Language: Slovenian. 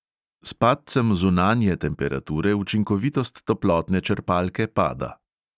S padcem zunanje temperature učinkovitost toplotne črpalke pada.